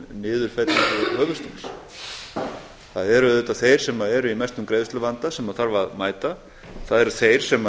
fá niðurfellingu höfuðstólsins það eru auðvitað þeir sem eru í mestum greiðsluvanda sem þarf að mæta það eru þeir sem